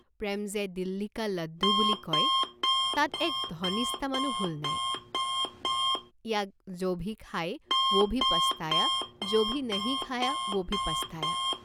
প্ৰেম যে "দিল্লীকা লাড্ডু" বুলি কয়, তাত এক ধনিষ্টা মানো ভুল নাই, ইয়াক "যোভি খায়া ওভি পস্তায়া, যোভি নাহি খায়া ওভি পস্তায়া।